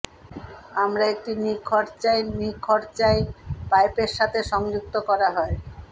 আমরা একটি নিখরচায় নিখরচায় পাইপের সাথে সংযুক্ত করা হয়